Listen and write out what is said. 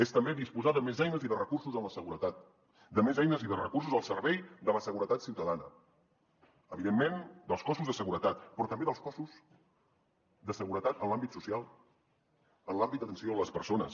és també disposar de més eines i de recursos en la seguretat de més eines i de recursos al servei de la seguretat ciutadana evidentment dels cossos de seguretat però també dels cossos de seguretat en l’àmbit social en l’àmbit d’atenció a les persones